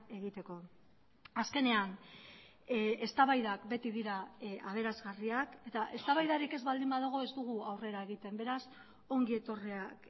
egiteko azkenean eztabaidak beti dira aberasgarriak eta eztabaidarik ez baldin badago ez dugu aurrera egiten beraz ongi etorriak